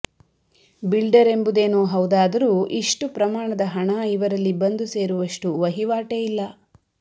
builder ಎಂಬುದೇನೋ ಹೌದಾದರೂ ಇಷ್ಟು ಪ್ರಮಾಣದ ಹಣ ಇವರಲ್ಲಿ ಬಂದು ಸೇರುವಷ್ಟು ವಹಿವಾಟೇ ಇಲ್ಲ